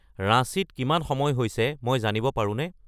ৰাঁচীত কিমান সময় হৈছে মই জানিব পাৰোনে